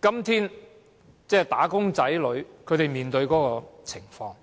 今天"打工仔女"面對的情況。